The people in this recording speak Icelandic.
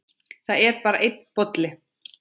Það er bara einn bolli!